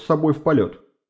с собой в полёт